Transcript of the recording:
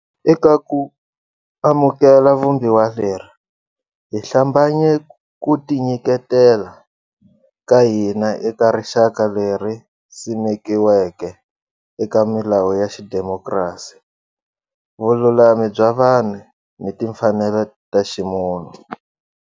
Eka ku amukela Vumbiwa leri, hi hlambanye ku tinyiketela ka hina eka rixaka leri simekiweke eka milawu ya xidemokiratiki, vululami bya vanhu ni timfanelo ta ximunhu.